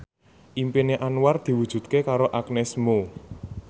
impine Anwar diwujudke karo Agnes Mo